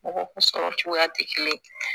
Mɔgɔ kun sɔrɔ cogoya tɛ kelen ye